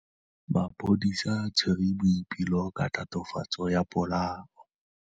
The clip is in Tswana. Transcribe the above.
Maphodisa a tshwere Boipelo ka tatofatsô ya polaô.